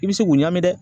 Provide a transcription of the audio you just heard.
I bɛ se k'o ɲa min dɛ